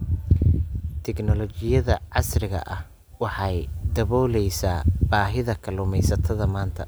Tignoolajiyada casriga ahi waxay daboolaysaa baahida kalluumaysatada maanta.